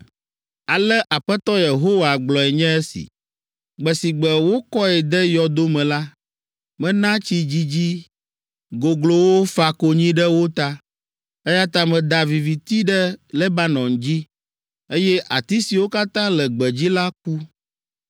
“Ale Aƒetɔ Yehowa gblɔe nye esi: ‘Gbe si gbe wokɔe de yɔdo me la, mena tsi dzidzi goglowo fa konyi ɖe wo ta. Eya ta meda viviti ɖe Lebanon dzi, eye ati siwo katã le gbedzi la ku.